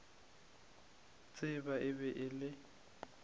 tseba e be e le